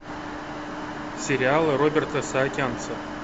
сериалы роберта саакянца